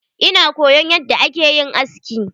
Ina koyon yadda akeyin aski.